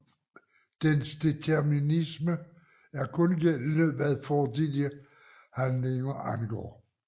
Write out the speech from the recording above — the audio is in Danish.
Dens determinisme er kun gældende hvad fortidige handlinger angår